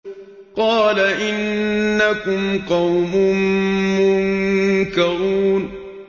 قَالَ إِنَّكُمْ قَوْمٌ مُّنكَرُونَ